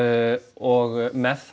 og með